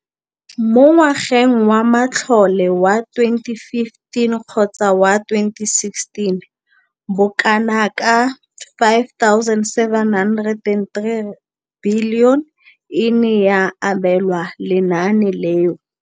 Mo ngwageng wa matlole wa 2015,16, bokanaka R5 703 bilione e ne ya abelwa lenaane leno.